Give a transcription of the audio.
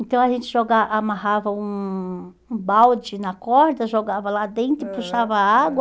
Então a gente joga amarrava um um balde na corda, jogava lá dentro e puxava água.